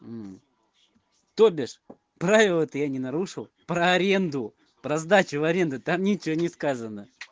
то бишь правило это я не нарушил про аренду про сдачу в аренду там ничего не сказано